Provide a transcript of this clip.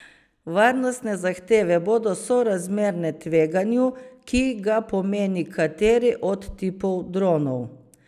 Varnostne zahteve bodo sorazmerne tveganju, ki ga pomeni kateri od tipov dronov.